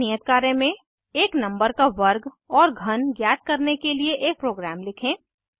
एक नियत कार्य में एक नंबर का वर्ग और घन ज्ञात करने के लिए एक प्रोग्राम लिखें